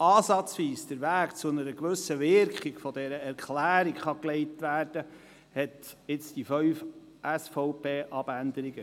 Um den Weg hin zu einer gewissen Wirkung dieser Erklärung wenigstens ansatzweise zu legen, kam es zu den fünf SVP-Abänderungsanträgen.